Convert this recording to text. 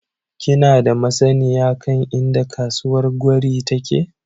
Kina da masanniya kan inda kasuwar gwari take?